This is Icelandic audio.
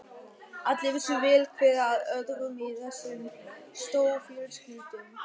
Allir vissu vel hver af öðrum í þessum stórfjölskyldum.